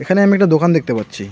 এখানে আমি একটা দোকান দেখতে পাচ্ছি।